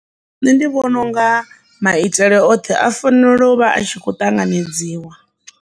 Nṋe ndi vhona unga maitele oṱhe a fanela u vha a tshi kho ṱanganedziwa.